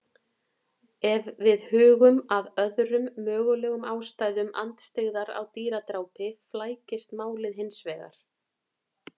Ef við hugum að öðrum mögulegum ástæðum andstyggðar á dýradrápi flækist málið hins vegar.